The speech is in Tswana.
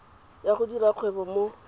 ya go dira kgwebo mo